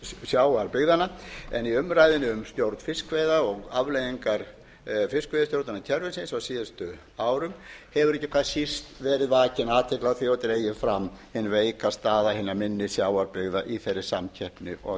sjávarbyggðanna en í umræðunni um stjórn fiskveiða og afleiðingar fiskveiðistjórnarkerfisins á síðustu árum hefur ekki hvað síst verið vakin athygli á því og dregin fram hin veika staða hinna minni sjávarbyggða í þeirri samkeppni og